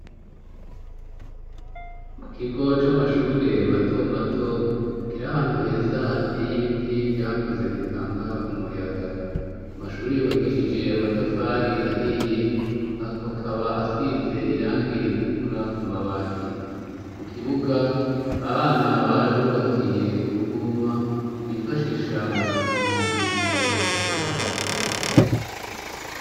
Mu kigo c'amashure matomato kiri ahantu heza hateye ibiti vyakuze bitanga umuyaga. Amashure yubakishije amatafari ahiye akaba asize irangi ritukura ku mabati. Mu kibuga aba bana barabubakiye uruvuma bifashisha mu gukina igihe basohotse.